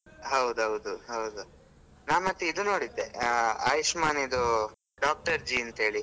ಹೌದೌದು, ಹೌದು. ನಾನ್ ಮತ್ತೆ ಇದು ನೋಡಿದ್ದೆ ಆ ಆಯುಷ್ಮಾನಿದು Doctor G ಅಂತೇಳಿ.